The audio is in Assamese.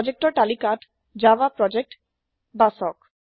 প্ৰজেক্টৰ তালিকাত জাভা প্ৰজেক্ট বাচক